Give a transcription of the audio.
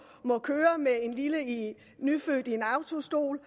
køre med en lille nyfødt i en autostol